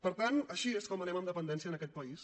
per tant així és com anem en dependència en aquest país